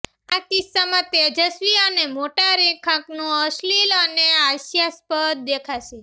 આ કિસ્સામાં તેજસ્વી અને મોટા રેખાંકનો અશ્લીલ અને હાસ્યાસ્પદ દેખાશે